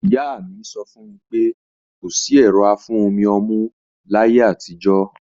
Ìyá mi sọ fún mi pé kò sí ẹ̀rọ afún-omi-ọmú láyé àtijọ́